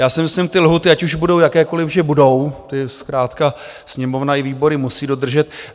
Já si myslím, ty lhůty, ať už budou jakékoliv, že budou, ty zkrátka Sněmovna i výbory musí dodržet.